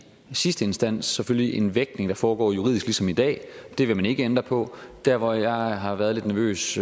sidste instans selvfølgelig en vægtning der foregår juridisk ligesom i dag og det vil man ikke ændre på der hvor jeg har været lidt nervøs